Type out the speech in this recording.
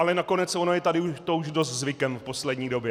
Ale nakonec ono je to tady už dost zvykem v poslední době.